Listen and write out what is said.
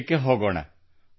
ನಾವು ಉತ್ತರ ಪ್ರದೇಶಕ್ಕೆ ಹೋಗೋಣ